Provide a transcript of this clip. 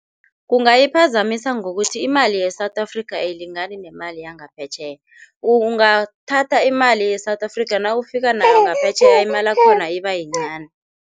Kungayiphazamisa ngokuthi imali ye-South Africa ayilingani nemali yangaphetjheya. Ungathatha imali ye-South Africa nawufika nayo ngaphetjheya imalakhona ibayincani.